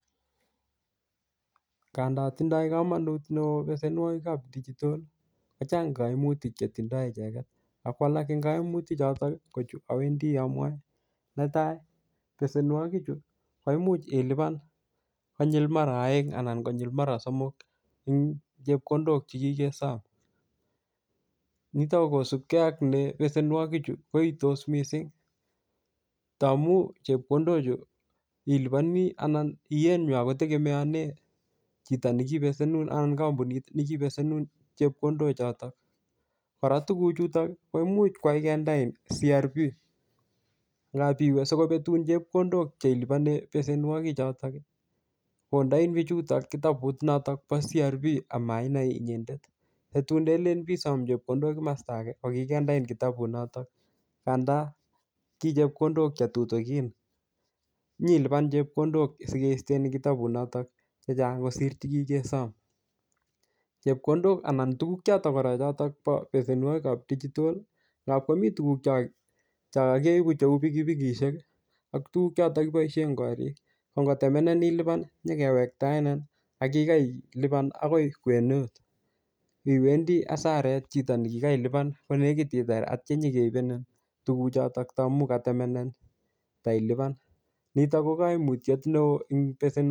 Ngandan tindo komonut neoo mpesenwokik chebo dichital ii kochang koimutik che tindo icheget ak kwalak en koimutik choton kochuto owendi amwae netai pesenwoki chu koimuch ilipan konyil mara oeng anan konyil mara somok eng chepkondok che kikesom nitok kokosupke ak ne pesenwoki chu koitos mising tamun chepkondok chu iliponi anan iyeenywan kotegemeonen chito nekipesenun anan kampunit nekipesenun chepkondok choton kora tuguchuton koimuch koyai kindein srb ngap iwe sikopetun chepkondok cheiliponen pesenwoki chutoki kondei bichutok kitabut notok bo srb ameinai inyendet kotun ndelen besom chepkondok kimosto ake kokindein kitabut notok ngandan kichepkondok chetutukin nyilipan chepkondok sikisten en kitabut notok chechang kosir chekikesom chepkondok anan tuguk choton kora chotok bo pesenwoki bo dichital ii ngapi komi tuguk cha keibu kou bikibikisheki ak tuguk chechotok kiboishen en korik kongotemenenin ilipani nyokewektaenenin Ako kikailipan akoi kwenet iwendi asaret chito nekikailipan konekit itar ak inyokeibenen tuguchotok tamun katemennenin teilipan nitok kokoimutiet neoo en pesenwokij